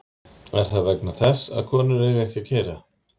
Er það vegna þess að konur eiga ekki að keyra????